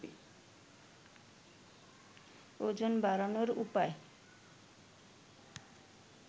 ওজন বাড়ানোর উপায়